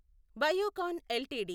Biocon LTD